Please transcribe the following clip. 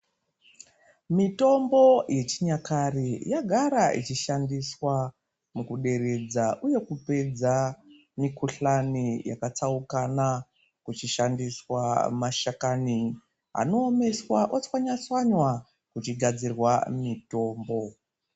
Mitombo yechinyakare, yagara ichishandiswa mukuderedza uye kupedza mikuhlani yakatsaukana, kuchishandiswa mashakani anoomeswa, otswanywa-tswanywa kuchikugadzirwa mitombo.